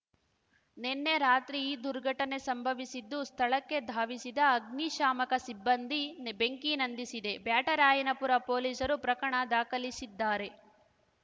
ನಿನ್ನೆ ರಾತ್ರಿ ಈ ದುರ್ಘಟನೆ ಸಂಭವಿಸಿದ್ದು ಸ್ಥಳಕ್ಕೆ ಧಾವಿಸಿದ ಅಗ್ನಿ ಶಾಮಕ ಸಿಬ್ಬಂದಿ ಬೆಂಕಿ ನಂದಿಸಿದೆ ಬ್ಯಾಟರಾಯನಪುರ ಪೊಲೀಸರು ಪ್ರಕಣ ದಾಖಲಿಸಿದ್ದಾರೆ